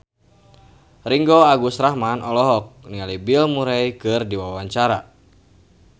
Ringgo Agus Rahman olohok ningali Bill Murray keur diwawancara